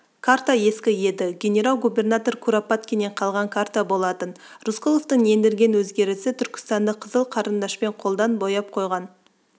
карта ескі еді генерал-губернатор куропаткиннен қалған карта болатын рысқұловтың ендірген өзгерісі түркістанды қызыл қарындашпен қолдан бояп қойған